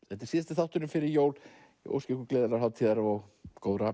þetta er síðasti þátturinn fyrir jól ég óska ykkur gleðilegrar hátíðar og góðra